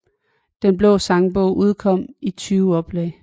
Den blå sangbog udkom i 20 oplag